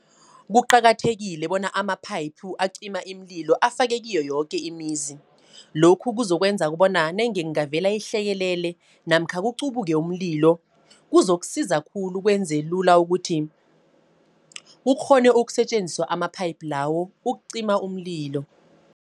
Kuqakathekile bona amaphayiphu acima iimlilo afakwe kiyo yoke imizi. Lokhu kuzokwenza bona nange kungavela ihlekelele, namkha kuqubuke umlilo, kuzokusiza khulu kwenze lula ukuthi, kukghone ukusetjenziswa amaphayiphu lawo ukucima umlilo.